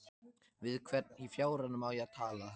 Við hvern í fjáranum á ég að tala?